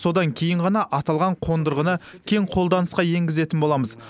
содан кейін ғана аталған қондырғыны кең қолданысқа енгізетін боламыз